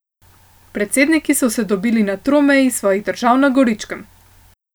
Predsedniki so se dobili na tromeji svojih držav na Goričkem.